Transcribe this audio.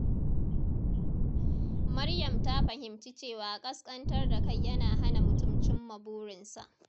Maryam ta fahimci cewa kaskantar da kai yana hana mutum cimma burinsa.